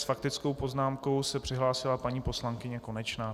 S faktickou poznámkou se přihlásila paní poslankyně Konečná.